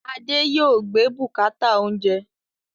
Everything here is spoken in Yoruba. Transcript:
Adé yòó gbé bùkátà oúnjẹ